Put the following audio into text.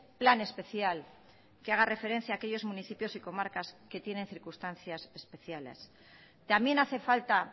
plan especial que haga referencia a aquellos municipios y comarcas que tienen circunstancias especiales también hace falta